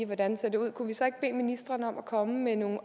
hvordan det ser ud kunne vi så ikke bede ministeren om at komme med nogle